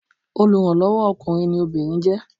Olùrànlọ́wọ́ o ọkùnrin ni obìnrin jẹ́.